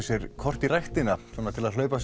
sér kort í ræktina til að hlaupa